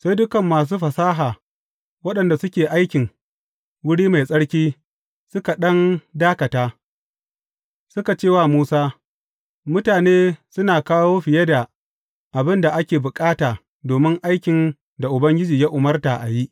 Sai dukan masu fasaha waɗanda suke aikin wuri mai tsarki suka ɗan dakata suka ce wa Musa, Mutane suna kawo fiye da abin da ake bukata domin aikin da Ubangiji ya umarta a yi.